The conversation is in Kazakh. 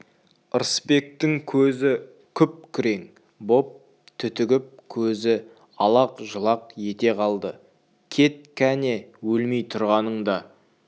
ырысбектің жүзі күп-күрең боп түтігіп көзі алақ-жұлақ ете қалды кет кәне өлмей тұрғаныңда